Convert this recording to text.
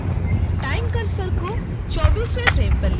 time cursor को 24 वें frame पर ले जाएं